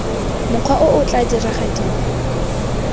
mokgwa o o tla diragadiwa